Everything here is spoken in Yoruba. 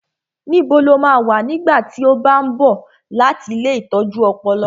Níbo lo máa wà nígbà tí ó bá ń bọ̀ láti ilée ìtọ́jú ọpọlọ?